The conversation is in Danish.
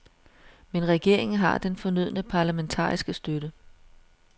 Men regeringen har den fornødne parlamentariske støtte.